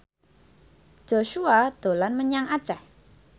Joshua dolan menyang Aceh